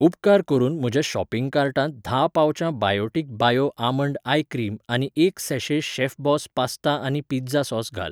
उपकार करून म्हज्या शॉपिंग कार्टांत धा पाउचां Biotique bio almond eye cream आनी एक सैशे शेफबॉस पास्ता आनी पिझ्झा सॉस घाल.